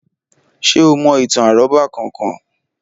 Ṣé o mo ìtàn àrọ́bá kan kan?